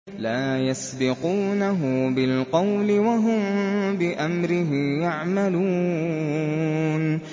لَا يَسْبِقُونَهُ بِالْقَوْلِ وَهُم بِأَمْرِهِ يَعْمَلُونَ